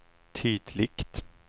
tydligt